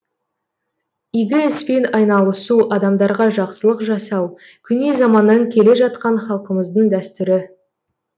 игі іспен айналысу адамдарға жақсылық жасау көне заманнан келе жатқан халқымыздың дәстүрі